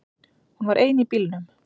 Hún var ein í bílnum.